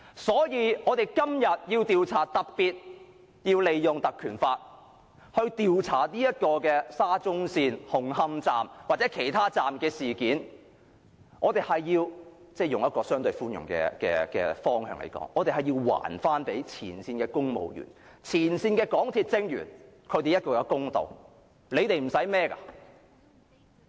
所以，我們今天特別要引用《條例》調查沙中線的紅磡站或其他車站的事件，以相對寬容的方向來說，我們要還前線公務員和前線港鐵職員一個公道。